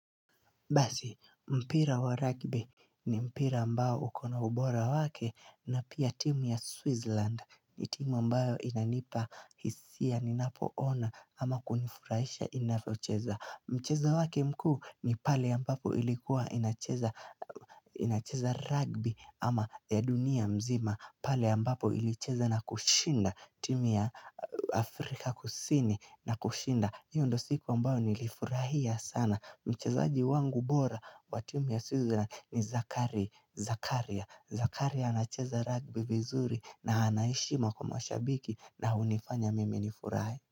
Basi, mpira wa rugby ni mpira ambao ukona ubora wake na pia timu ya Switzerland ni timu ambayo inanipa hisia ninapoona ama kunifurahisha inafyocheza. Mcheza wake mkuu ni pale ambapo ilikuwa inacheza rugby ama ya dunia mzima pale ambapo ilicheza na kushinda timu ya Afrika kusini na kushinda. Hiyo ndo siku ambao nilifurahia sana Mchezaji wangu bora wa timu ya Switzerland ni Zakaria Zakaria Zakaria anacheza rugby vizuri na ana heshima kwa mashabiki na hunifanya mimi nifurahi.